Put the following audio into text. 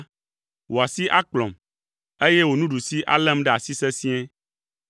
wò asi akplɔm, eye wò nuɖusi além ɖe asi sesĩe.